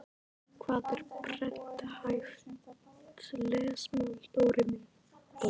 Hvað er prenthæft lesmál Dóri minn?